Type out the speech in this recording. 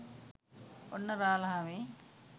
ඔන්න රාලහාමි